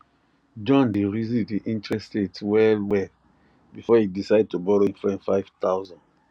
john de reason the interest rate well well before e decide to borrow him friend five thousand